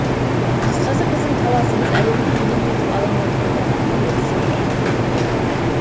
қысқасы біздің таласымыз әлемді елеңдетіп алаңдатып отырған нобель сыйлығы төңірегінде